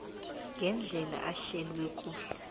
ngendlela ehlelwe kuhle